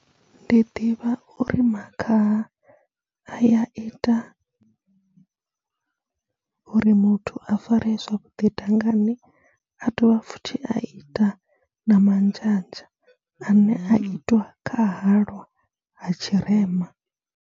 Ndi ḓivha uri makhaha a ya ita uri muthu a faree zwavhuḓi dangani, a dovha futhi a ita na manzhanzha ane a itiwa kha halwa ha tshirema.